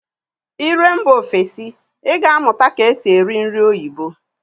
Ị ruo mba ofesi, Ị ga amụta nke esi eri nri oyibo